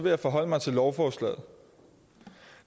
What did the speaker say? jeg forholde mig til lovforslaget